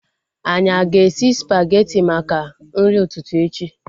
Anyị aga esi spageti maka nri ụtụtụ echi?